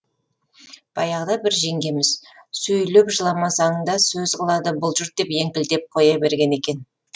баяғыда бір жеңгеміз сөйлеп жыламасаң да сөз қылады бұл жұрт деп еңкілдеп қоя берген екен